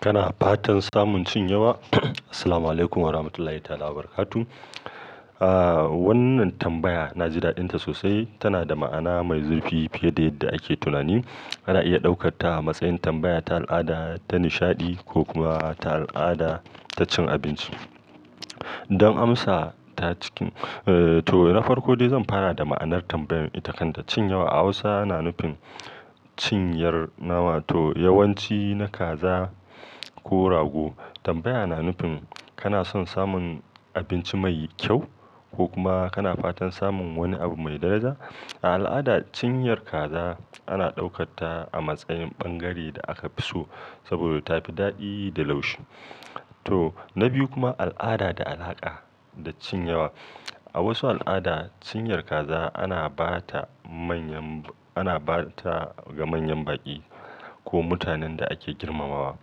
Kana fatan samun cin yawa? Assalamualaikum warahmatullahi wabarakatuh. Ah, wannan tambaya na ji daɗinta sosai. Tana da ma'ana mai zurfi fiye da yadda ake tunani. Ana iya ɗaukarta a matsayin tambaya ta al'ada ta nishaɗi ko kuma ta al'ada ta cin abinci. Don amsa ta cikin-- eh, to na farko dai zan fara da ma'anar tambayar ita kanta. Cin yawa a Hausa na nufin cinyar nawa to yawanci na kaza ko rago. Tambaya na nufin kana son samun abinci mai kyau ko kuma kana fatan samun wani abu mai daraja. A al'ada, cinyar kaza ana ɗaukarta a matsayin ɓangare da aka fi so saboda ta fi daɗi da laushi. To, na biyu kuma al'ada da alaƙa da cin yawa. A wasu al'ada, cinyar kaza ana ba ta manyan-- ana ba ta ga manyan baƙi ko mutanen da ake girmamawa.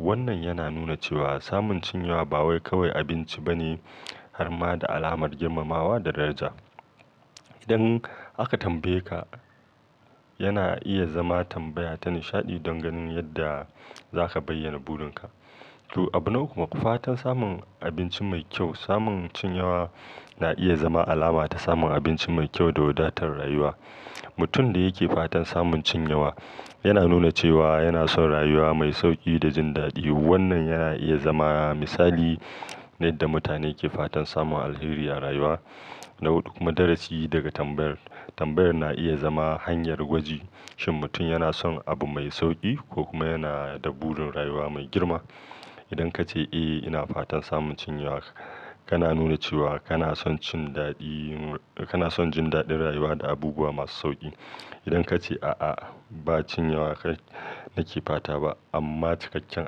Wannan yana nuna cewa samun cin yawa ba wai kawai abinci bane har ma da alamar girmamawa da daraja. Idan aka tambaye ka, yana iya zama tambaya ta nishaɗi don ganin yadda za ka bayyana burin ka. To, abu na uku, fatan samun abinci mai kyau. Samun cin yawa na iya zama alama ta samun abinci mai kyau da wadatar rayuwa. Mutum da yake fatan samun cin yawa yana nuna cewa yana son rayuwa mai sauƙi da jin daɗi. Wannan yana iya zama misali na yadda mutane ke fatan samun alheri a rayuwa. Na hudu kuma, darasi daga tambayar. Tambayar na iya zama hanyar gwaji shin mutum yana son abu mai sauƙi ko kuma yana da burin rayuwa mai girma. Idan ka ce, "Eh, ina fatan samun cin yawa”, kana nuna cewa kana son cin daɗi, kana son jin daɗin rayuwa da abubuwa masu sauƙi. Idan ka ce, "A'a, ba cin yawa nake fata ba amma cikakken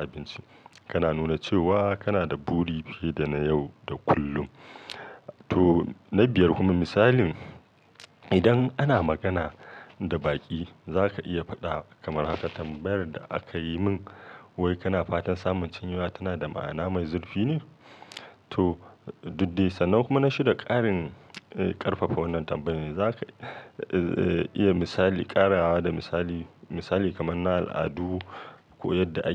abinci”, kana nuna cewa kana da buri fiye da na yau da kullum. To, na biyar kuma misalin. Idan ana magana da baƙi zaka iya faɗa kamar haka, tambayar da akayi min wai kana fatan samun cin yawa tanada ma'ana mai zurfi ne to, dudde sannan. Kuma na shida, ƙarin, eh, ƙarfafa wannan tambayar. Za ka, eh, iya misali ƙarawa da misali, misali kamar na al'adu ko yadda ake.